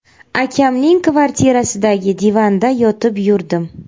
Akamning kvartirasidagi divanda yotib yurdim.